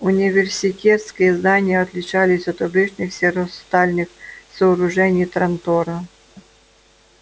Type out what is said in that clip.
университетские здания отличались от обычных серо-стальных сооружений трантора